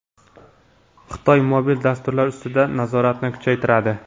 Xitoy mobil dasturlar ustidan nazoratni kuchaytiradi.